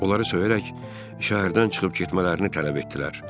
Onları söyərək şəhərdən çıxıb getmələrini tələb etdilər.